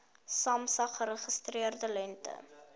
samsa geregistreerde lengte